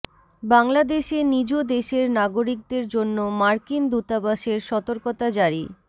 বাংলাদেশে নিজ দেশের নাগরিকদের জন্য মার্কিন দূতাবাসের সতর্কতা জারি